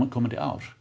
komandi ári